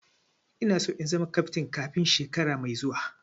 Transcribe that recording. Ina so in zama kaftin kafin shekara mai zuwa